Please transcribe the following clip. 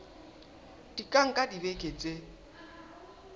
di ka nka dibeke tse